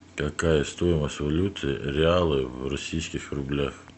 какая стоимость валюты реалы в российских рублях